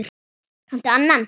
Kanntu annan?